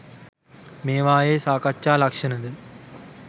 මේවායේ සාකච්ඡා ලක්‍ෂණ ද